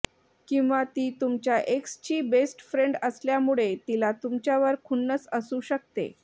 किंवा ती तुमच्या एक्सची बेस्ट फ्रेंड असल्यामुळे तिला तुमच्यावर खुन्नस असू शकते